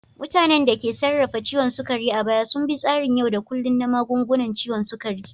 Mutanen da ke sarrafa ciwon sukari a baya sun bi tsarin yau da kullun na magungunan ciwon sukari.